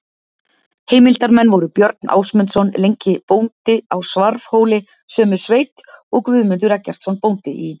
Heimildarmenn voru Björn Ásmundsson lengi bóndi á Svarfhóli sömu sveit og Guðmundur Eggertsson bóndi í